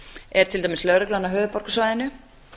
er til dæmis lögreglan á höfuðborgarsvæðinu